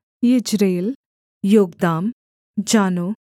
Jezreel Jokdeam Zanoah